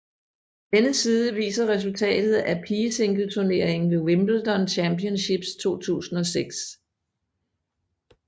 Denne side viser resultatet af pigesingleturneringen ved Wimbledon Championships 2006